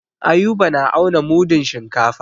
Ayuba na auna mudun shinkafa.